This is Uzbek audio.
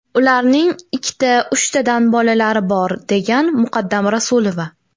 Ularning ikkita, uchtadan bolalari bor”, degan Muqaddam Rasulova .